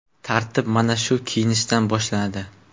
Tartib mana shu kiyinishdan boshlanadi.